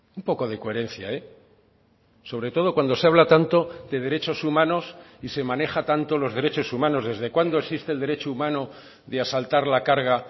un poco de coherencia sobre todo cuando se habla tanto de derechos humanos y se maneja tanto los derechos humanos desde cuándo existe el derecho humano de asaltar la carga